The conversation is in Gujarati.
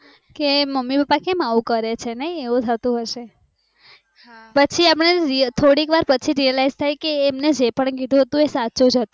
કે મમ્મી પપ્પા કેમ આવું કરે છે નાય એવું થતું હોય છે પછી એમાં થોડીક વાર realise થાય કે એમને જે પણ કીધું હતું એ સાચું કીધું હતું